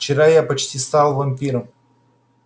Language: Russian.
вчера я почти стал вампиром